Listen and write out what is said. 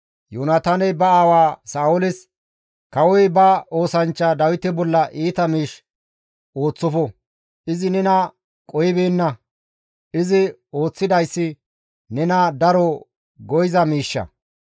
Yoonataaney ba aawa Sa7ooles, «Kawoy ba oosanchcha Dawite bolla iita miish ooththofo; izi nena qohibeenna; izi ooththidayssi nena daro go7iza miishsha.